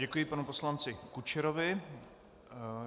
Děkuji panu poslanci Kučerovi.